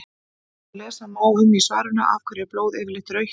eins og lesa má um í svarinu af hverju er blóð yfirleitt rautt